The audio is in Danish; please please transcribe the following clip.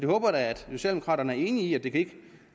håber da at socialdemokraterne er enig i at